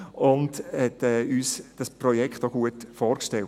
– Er hat uns dieses Projekt auch gut vorgestellt.